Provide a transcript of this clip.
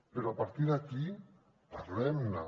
però a partir d’aquí parlem ne